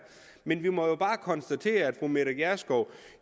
men vi må jo bare konstatere at fru mette gjerskov